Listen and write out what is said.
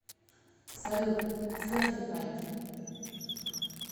салют сертифайд